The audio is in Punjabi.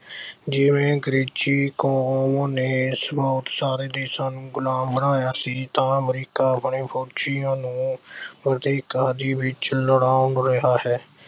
ਜਿਵੇਂ ਅੰਗਰੇਜ਼ੀ ਕੌਮ ਨੇ ਬਹੁਤ ਸਾਰੇ ਦੇਸ਼ਾਂ ਨੂੰ ਗੁਲਾਮ ਬਣਾਇਆ ਸੀ ਤਾਂ ਅਮਰੀਕਾ ਆਪਣੇ ਫੌਜੀਆਂ ਨੂੰ ਵਿੱਚ ਰਿਹਾ ਹੈ।